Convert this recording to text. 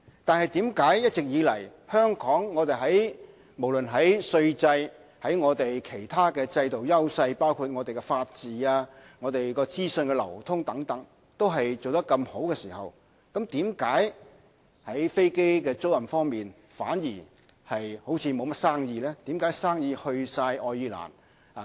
但是，一直以來，即使香港無論在稅制和其他制度，包括我們的法治和資訊流通等方面做得這麼好，為何在飛機租賃方面反而好像沒有甚麼生意？